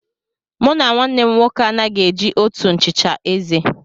Mụ na nwannem nwoke anaghị e ji òtù nchicha eze.